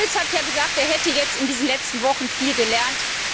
Herr Schulz hat ja gesagt, er hätte in diesen letzten Wochen viel gelernt.